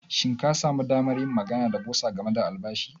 Shin ka sami damar yin magana da bursar game da albashi na?